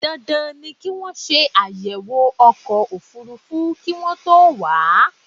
Dandan ni kí wọ́n ṣe àyẹ̀wò ọkọ̀ òfúrúfú kí wọ́n tó wà á.